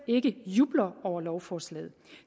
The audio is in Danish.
ikke jubler over lovforslaget